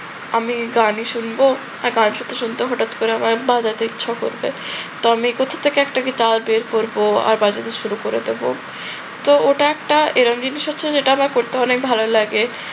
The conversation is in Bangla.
আমি গানই শুনব, একটা গান শুনতে শুনতে হঠাৎ করে আমার বাজাতে ইচ্ছে করবে। তো আমি কোথা থেকে একটা গিটার বের করব আর বাজাতে শুরু করে দেব। তো ওটা একটা এরম জিনিস হচ্ছে যেটা আমার করতে অনেক ভালো লাগে